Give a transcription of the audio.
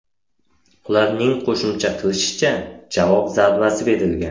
Ularning qo‘shimcha qilishicha, javob zarbasi berilgan.